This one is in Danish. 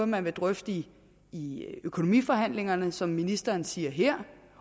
man vil drøfte i økonomiforhandlingerne som ministeren siger her